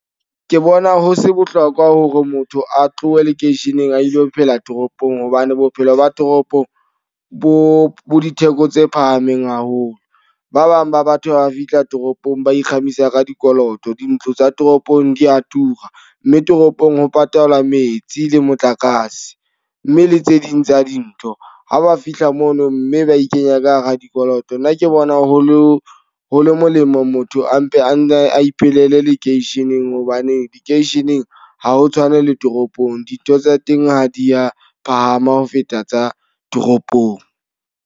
Ke bona ho se bohlokwa hore motho a tlohe lekeisheneng a ilo phela toropong. Hobane bophelo ba toropong bo bo ditheko tse phahameng haholo. Ba bang ba batho ba fihla toropong ba nkgamisa ka dikoloto. Dintlo tsa toropong di a tura. Mme toropong ho patala metsi le motlakase, mme le tse ding tsa dintho. Ha ba fihla mono mme ba e kenya ka hara dikoloto. Nna ke bona ho lo ho le molemo motho a mpe a iphelele lekeisheneng. Hobane lekeisheneng ha ho tshwane le toropong. Dintho tsa teng ha di ya phahama ho feta tsa toropong.